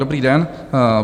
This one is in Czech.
Dobrý den.